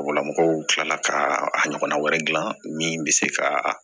Mɔgɔlamɔgɔw kilala ka a ɲɔgɔnna wɛrɛ gilan min bɛ se ka